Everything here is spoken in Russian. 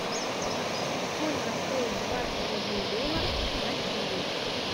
сколько стоит двадцать один доллар в россии